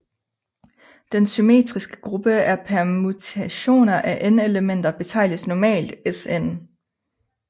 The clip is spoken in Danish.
Den symmetriske gruppe af permutationer af n elementer betegnes normalt Sn